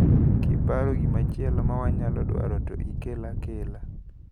Kiparo gimachielo mawanyalo dwaro to ikel akela.